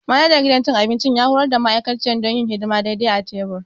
Manajan gidan cin abinci ya horar da ma'aikaciyar don yin hidima daidai a tebur.